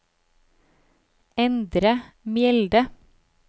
Endre Mjelde